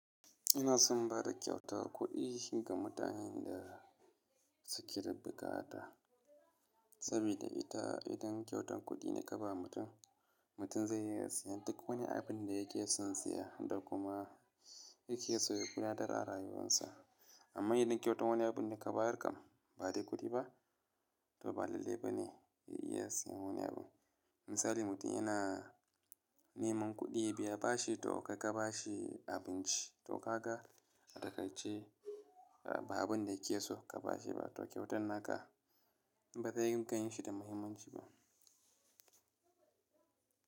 Ina son bada kyautar kuɗi ga mutanen da suke da bukata saboda ita idan kyautan kuɗi ne ka ba mutum, mutum zai iya siyan duk wani abin da yake son siya da kuma yake so ya ƙuna tara rayuwarsa. Amma idan kyautan wani abu ne ka bayar kam ba dai kuɗi ba, to ba lalle ba ne ya iya siyan wani abu. Misali mutum yana neman kuɗi biya bashi to kai ka ba shi abinci to ka ga a takarce ba abin da yake so ka ba shi ba, to kyautan naka ba zai gan shi da muhimmanci ba.